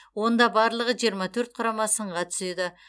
онда барлығы жиырма төрт құрама сынға түседі